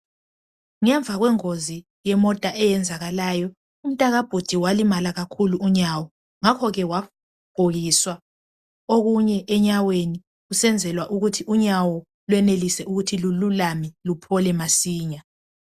ngemva kwengozi eyayenzakalayo umntaka bhudi walimala kakhulu unyawo ngakho ke wagqokisa okunye enyaweni kusenzelwa ukuthiunyawo lwenelise ukuthi lululame luphole masinya